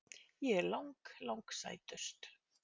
Ég er lang, lang sætust.